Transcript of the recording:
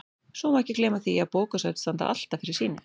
Svo má ekki gleyma því að bókasöfn standa alltaf fyrir sínu.